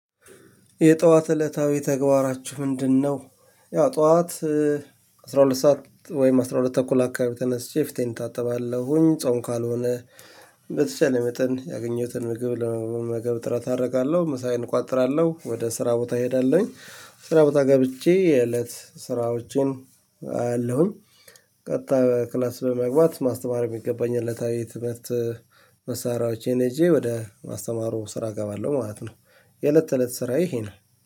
የጠዋት እለታዊ ተግባራቹ ምንድን ነው? ያው ጠዋት አስራሁለት ሰዓት ወይም አስራሁል ተኩል አካባቢ ተነስቼ ፊቴን እታጠባለሁኝ ጾም ካልሆነ በተቻለኝ አቅም ያገኝሁትን ምግብ ለመመገብ ጥረት አደርጋለሁ። ምሳዬን እቋጥራለሁ ወደ ሰራ ቦታ እሄዳለሁኝ። ስራ ቦታ ገብቼ የእለት ስራዎችን አያለሁኝ። ቀጣይ ወደ ክላስ በመግባት ማስተማር የሚገባኝን እለታዊ የትምህርት መሳሪያዎችን ይዤ ወደ ማስተማሩ ስራ እገባለሁኝ ማለት ነው። የእለት ተእለት ስራዬ ይሄ ነው